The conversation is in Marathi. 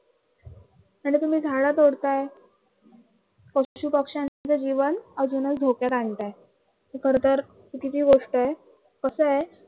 आणि तुम्ही झाडं तोडताय पशु पक्षांच जीवन अजूनही धोक्यात आणताय. ही खर तर चुकीची गोष्ट आहे कस आहे